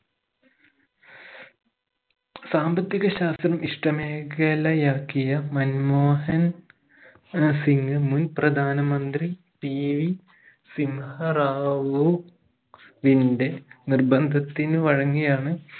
സാമ്പത്തിക ശാസ്ത്രം ഇഷ്ടമേഖലയാക്കിയ മൻമോഹൻ ആഹ് സിംഗ് മുൻ പ്രധാനമന്ത്രി PV സിംഹ റാവു വിന്റെ നിർബന്ധത്തിനു വഴങ്ങിയാണ്